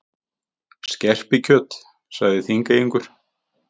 Skerpikjöt, sagði Þingeyingur.